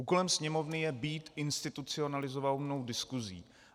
Úkolem Sněmovny je být institucionalizovanou diskuzí.